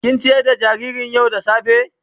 Kin ciyar da jaririn yau da safa.?